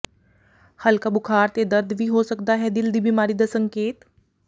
ਹਲਕਾ ਬੁਖਾਰ ਤੇ ਦਰਦ ਵੀ ਹੋ ਸਕਦਾ ਹੈ ਦਿਲ ਦੀ ਬਿਮਾਰੀ ਦਾ ਸੰਕੇਤ